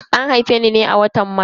An haife ni ne a watan Maris.